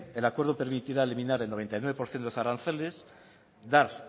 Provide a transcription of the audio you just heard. el acuerdo permitirá eliminar el noventa y nueve por ciento de los aranceles dar